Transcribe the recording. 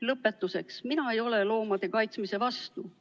Lõpetuseks: mina ei ole loomade kaitsmise vastu.